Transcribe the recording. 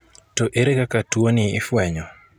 To ere kaka tuoni ifuenyo?